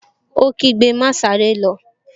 Ó kígbe, 'Máa sáré lọ!